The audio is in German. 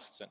2018.